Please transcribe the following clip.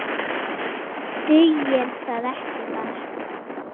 Dugir það ekki bara?